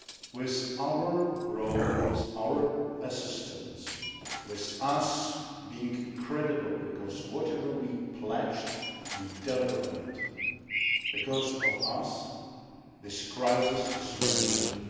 With our role, with our assistance, with us being credible because whatever we pledged, we deliver on it because of us this crisis is manageable.